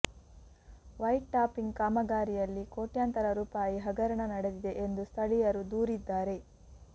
white topping ಕಾಮಗಾರಿಯಲ್ಲಿ ಕೋಟ್ಯಾಂತರ ರೂಪಾಯಿ ಹಗರಣ ನಡೆದಿದೆ ಎಂದು ಸ್ಥಳೀಯರು ದೂರಿದ್ದಾರೆ